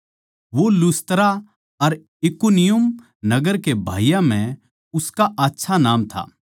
वो लुस्त्रा अर इकुनियुम नगर के भाईयाँ म्ह उसका आच्छा नाम था